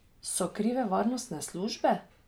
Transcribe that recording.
So krive varnostne službe?